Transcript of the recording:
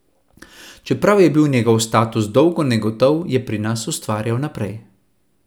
Čeprav je bil njegov status dolgo negotov, je pri nas ustvarjal naprej.